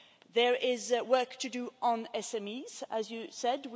There is work to do on SMEs, as you said.